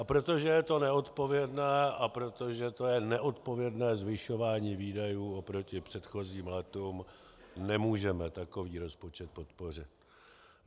A protože to je neodpovědné a protože to je neodpovědné zvyšování výdajů oproti předchozím létům, nemůžeme takový rozpočet podpořit.